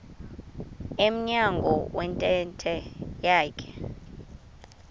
emnyango wentente yakhe